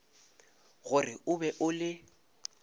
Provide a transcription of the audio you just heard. gore o be o le